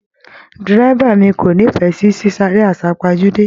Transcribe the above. Dírẹ́bà mí ko n'ifẹ sí sisare asapajude